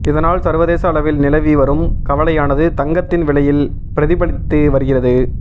இதனால் சர்வதேச அளவில் நிலவி வரும் கவலையானது தங்கத்தின் விலையில் பிரதிபலித்து வருகிறது